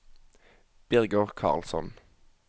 Birger Karlsson